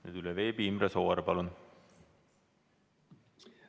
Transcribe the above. Nüüd veebi vahendusel Imre Sooäär, palun!